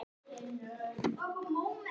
Þið eruð alltof þungir.